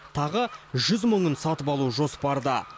тағы жүз мыңын сатып алу жоспарда